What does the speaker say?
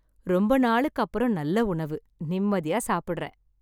ரொம்ப நாளுக்கு அப்புறம் நல்ல உணவு நிம்மதியா சாப்பிடுறேன்